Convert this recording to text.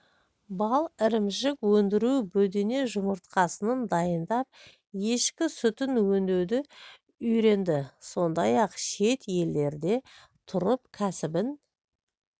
бал ірімшік өндіру бөдене жұмыртқасын дайындап ешкі сүтін өңдеуді үйренді сондай-ақ шет елдерде тұрып кәсібін